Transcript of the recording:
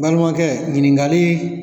Nbalimakɛ yinikali